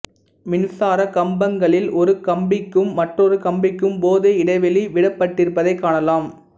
மின்சாரக் கம்பங்களில் ஒரு கம்பிக்கும் மற்றொரு கம்பிக்கும் போதிய இடைவெளி விடப்பட்டிருப்பதை காணலாம்